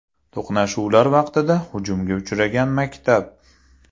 To‘qnashuvlar vaqtida hujumga uchragan maktab.